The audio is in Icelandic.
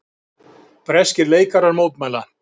Breskir leikarar mótmæla